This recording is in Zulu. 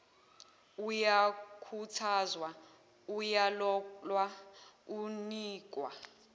uyakhuthazwa uyalolwa unikwa